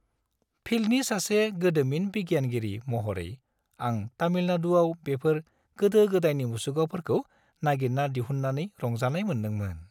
फिल्डनि सासे गोदोमिन बिगियानगिरि महरै, आं तामिलनाडुआव बेफोर गोदो-गोदायनि मुसुखाफोरखौ नागिरना दिहुननानै रंजानाय मोन्दोंमोन।